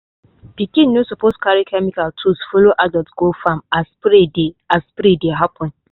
pikin no suppose carry chemical tools follow adult go farm as spray dey as spray dey happen.